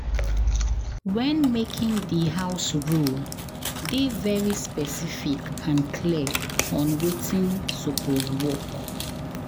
When making di house rule, dey very specific and clear on wetin supoose work